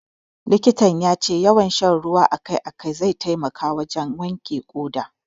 Likitan ya ce yawan sha ruwa a kai a kai zai taimaka wajen wanke ƙoda.